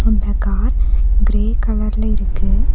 அந்த car grey கலர்ல இருக்கு.